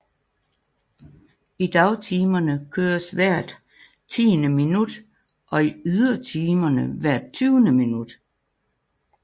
I dagtimerne køres hvert tiende minut og i ydertimerne hvert tyvende minut